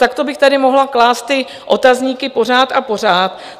Takto bych tady mohla klást ty otazníky pořád a pořád.